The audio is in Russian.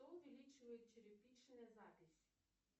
что увеличивает черепичная запись